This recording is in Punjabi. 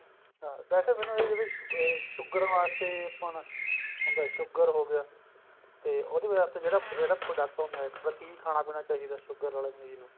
ਹਾਂ ਵੇਸੇ ਮੈਨੂੰ sugar ਵਾਸਤੇ ਆਪਾਂ ਉਹਦਾ sugar ਹੋਗਿਆ ਤੇ ਉਹਦੇ ਵਾਸਤੇ ਜਿਹੜਾ product ਹੁੰਦਾ ਇੱਕ ਕੀ ਖਾਣਾ ਪੀਣਾ ਚਾਹੀਦਾ sugar ਆਲੇ ਮਰੀਜ਼ ਨੂੰ